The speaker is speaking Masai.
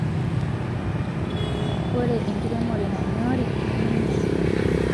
ore enkiremore nanyoriii nemeinyal boo